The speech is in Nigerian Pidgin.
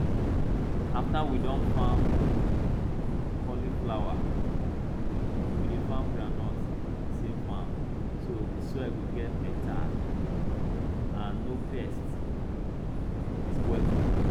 after we Accepted farm cauliflower we dey farm groundnut for the same farm so the soil go get better and no pests dey spoil food